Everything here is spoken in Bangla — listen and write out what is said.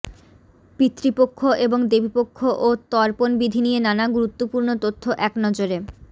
পিতৃপক্ষ এবং দেবীপক্ষ ও তর্পণ বিধি নিয়ে নানা গুরুত্বপূর্ণ তথ্য একনজরে